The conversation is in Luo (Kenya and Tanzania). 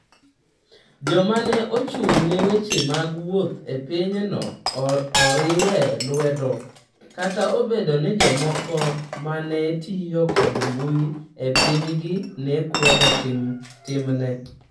Joma ne ochung’ne weche mag wuoth e pinyno ne oriwe lwedo, kata obedo ni jomoko ma ne tiyo kod mbui e pinygi ne kwedo timne.